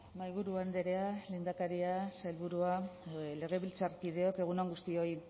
mahaiburu andrea lehendakaria sailburua legebiltzarkideok egun on guztioi